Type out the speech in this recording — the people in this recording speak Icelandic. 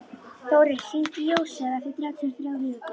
Þórir, hringdu í Jósefus eftir þrjátíu og þrjár mínútur.